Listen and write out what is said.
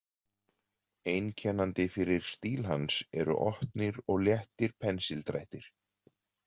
Einkennandi fyrir stíl hans eru opnir og léttir pensildrættir.